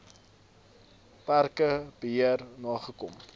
parke beheer nagekom